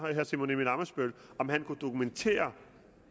herre simon emil ammitzbøll kan dokumentere